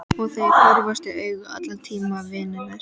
Og þeir horfast í augu allan tímann vinirnir.